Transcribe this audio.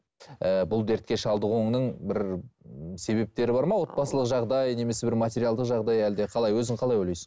ііі бұл дертке шалдығуыңның бір себептері бар ма отбасылық жағдай немесе бір материалдық жағдай әлде қалай өзің қалай ойлайсың